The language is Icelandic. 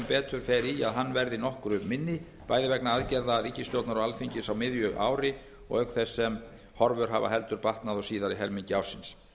betur fer í að hann verði nokkru minni bæði vegna aðgerða ríkisstjórnar og alþingis á miðju ári auk þess sem horfur hafa heldur batnað á síðari helmingi ársins